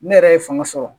Ne yɛrɛ ye fanga sɔrɔ